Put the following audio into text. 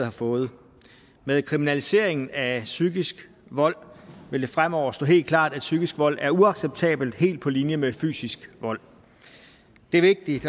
har fået med kriminaliseringen af psykisk vold vil det fremover stå helt klart at psykisk vold er uacceptabelt helt på linje med fysisk vold det er vigtigt